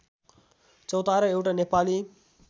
चौतारो एउटा नेपाली